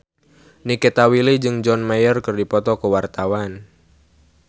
Nikita Willy jeung John Mayer keur dipoto ku wartawan